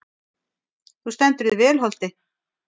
Þú stendur þig vel, Holti!